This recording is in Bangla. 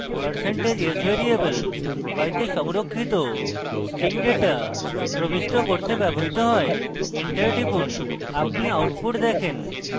percentage s % s variable y তে সংরক্ষিত string ডেটা প্রবিষ্ট করতে ব্যবহৃত হয় enter টিপুন আপনি output দেখেন